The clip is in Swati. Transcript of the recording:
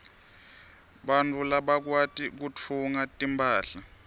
bantfu labakwati kutfunga timphahla